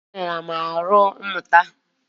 Opi-ike ghara m nnukwu ahụ mụta